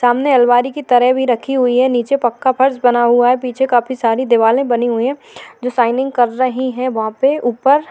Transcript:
सामने अलमारी की तरह भी रखी हुई है नीचे पक्का फर्श बना हुआ है पीछे काफी सारी दिवाली बने हुए है जो शाइनिंग कर रही है वहां पे ऊपर --